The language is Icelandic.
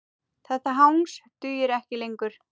Þetta hangs dugir ekki lengur.